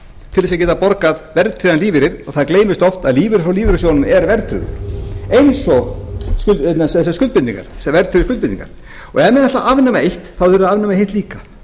til þess að geta borgað verðtryggðan lífeyri og það gleymist oft að lífeyrir frá lífeyrissjóðunum er verðtryggður eins og þessar verðtryggðu skuldbindingar ef menn ætla að afnema eitt þá verða þeir að afnema hitt líka